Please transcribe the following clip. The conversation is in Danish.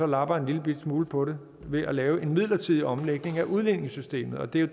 lapper en lillebitte smule på det ved at lave en midlertidig omlægning af udligningssystemet og det er